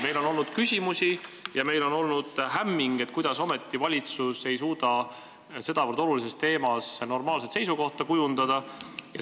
Meil on olnud küsimusi ja me oleme olnud hämmingus, et kuidas ometi valitsus ei suuda sedavõrd olulise teema kohta normaalset seisukohta kujundada.